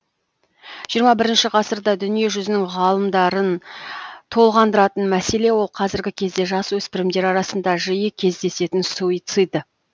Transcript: жиырма бірінші ғасырда дүние жүзінің ғалымдарын толғандыратын мәселе ол қазіргі кезде жасөспірімдер арасында жиі кездесетін суицид